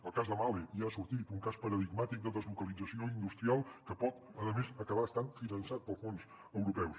el cas de mahle ja ha sortit un cas paradigmàtic de deslocalització industrial que pot a més acabar estant finançat pels fons europeus